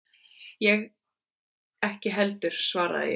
Ég ekki heldur, svaraði ég.